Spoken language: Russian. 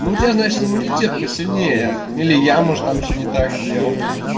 ну у тебя значит иммунитет посильнее или я может там что-то не так сделал